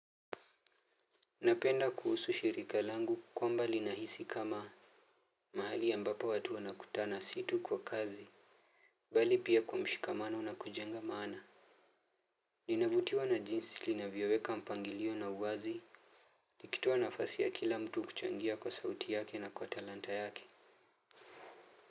Napenda kuhusu shirika langu kwamba linahisi kama mahali ambapo watu wanakutana si tu kwa kazi bali pia kwa mshikamano na kujenga maana. Ninavutiwa na jinsi linavyoweka mpangilio na uwazi. Nikitoa nafasi ya kila mtu kuchangia kwa sauti yake na kwa talanta yake.